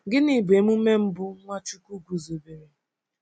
Gịnị bụ emume mbụ Nwachukwu guzobere?